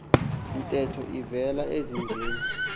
ntetho ivele ezinjeni